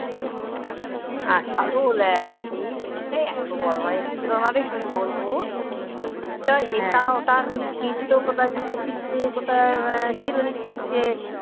কালো ল্যাজ সেই জ্যাকটায় এত বদমাইশ ছিল না রে কি বলবো তাই এটা ওটা খালি ছিঁড়তো কোথাও জুতো ছিঁড়ছে কোথায় আহ চিরুনি ছিঁড়ছে